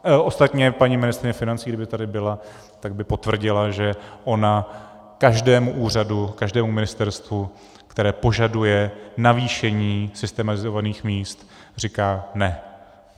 Ostatně paní ministryně financí, kdyby tady byla, tak by potvrdila, že ona každému úřadu, každému ministerstvu, které požaduje navýšení systemizovaných míst, říká ne.